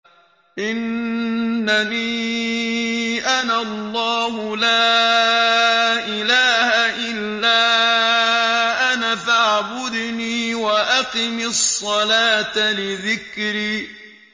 إِنَّنِي أَنَا اللَّهُ لَا إِلَٰهَ إِلَّا أَنَا فَاعْبُدْنِي وَأَقِمِ الصَّلَاةَ لِذِكْرِي